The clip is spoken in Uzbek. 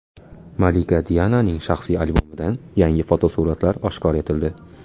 Malika Diananing shaxsiy albomidan yangi fotosuratlar oshkor etildi.